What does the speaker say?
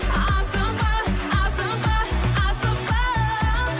асықпа асықпа асықпа